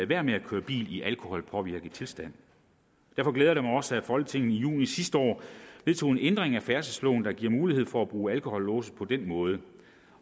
være med at køre bil i alkoholpåvirket tilstand derfor glæder det mig også at folketinget i juni sidste år vedtog en ændring af færdselsloven der giver mulighed for at bruge alkolåse på den måde